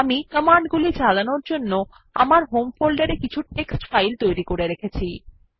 আমি কমান্ডগুলি চালানোর জন্য আমার হোম ফোল্ডারে কিছু টেক্সট ফাইল তৈরী করে রেখেছি